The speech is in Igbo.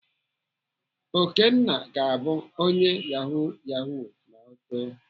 Okenna ga-abụ onye Yahoo Yahoo ma ọ too.